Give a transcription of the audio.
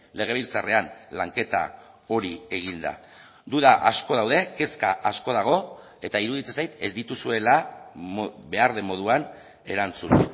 legebiltzarrean lanketa hori egin da duda asko daude kezka asko dago eta iruditzen zait ez dituzuela behar den moduan erantzun